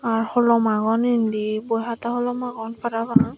ah holom agon indi boi hata holom agon parapang.